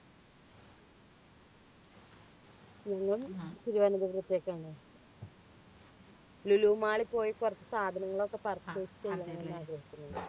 ഞങ്ങൾ തിരുവനന്തപുരത്തേക്കാണ് ലുലു mall ൽ പോയി കുറച്ച് സാധനങ്ങളൊക്കെ purchase